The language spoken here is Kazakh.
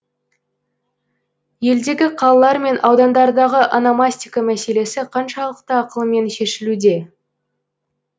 елдегі қалалар мен аудандардағы ономастика мәселесі қаншалықты ақылмен шешілуде